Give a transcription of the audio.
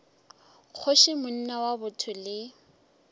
kgoši monna wa botho le